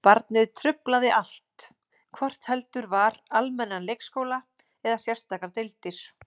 Barnið truflaði allt, hvort heldur var almennan leikskóla eða sérstakar deildir.